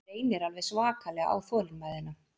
Reynir alveg svakalega á þolinmæðina